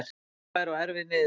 Þungbær og erfið niðurstaða